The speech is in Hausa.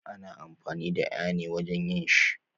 Ana amfani da aya ne wajen yin shi